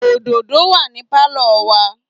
òdòdó wà ní Pálọ̀ wa.